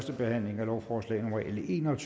leve